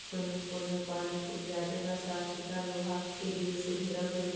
Swimming pool में पानी खूब ज्यादे बा। साफ-सुतरा लोहा के गिरिल से घेरल गइल बा।